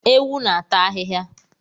Ewu n'ata ahihia